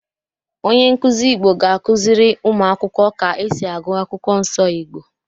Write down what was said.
Onye nkuzi Igbo ga-akụziri ụmụ akwụkwọ ka esi agụ Akwụkwọ Nsọ Igbo.